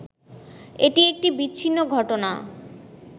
এটি একটি বিচ্ছিন্ন ঘটনা